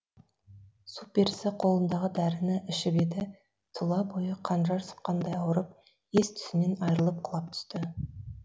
су перісі қолындағы дәріні ішіп еді тұла бойы қанжар сұққандай ауырып ес түсінен айрылып құлап түсті